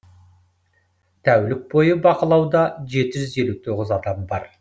тәулік бойы бақылауда жеті жүз елу тоғыз адам бар